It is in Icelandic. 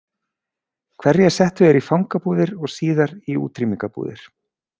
Hverja settu þeir í fangabúðir og síðar í útrýmingarbúðir?